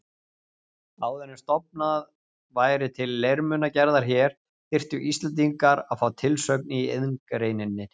Áður en stofnað væri til leirmunagerðar hér, þyrftu Íslendingar að fá tilsögn í iðngreininni.